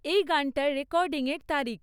এই গানটার রেকর্ডিংয়ের তারিখ